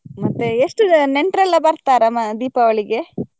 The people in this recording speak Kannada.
ಮತ್ತೆ ಎಷ್ಟು ಜ~ ನೆಂಟ್ರೆಲ್ಲ ಬರ್ತಾರಾ ಮ ದೀಪಾವಳಿಗೆ?